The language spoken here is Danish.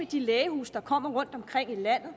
de lægehuse der kommer rundtomkring i landet